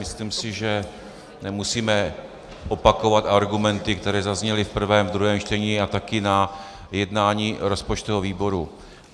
Myslím si, že nemusíme opakovat argumenty, které zazněly v prvém a druhém čtení a taky na jednání rozpočtového výboru.